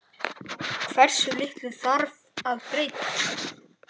Hversu litlu þarf að breyta?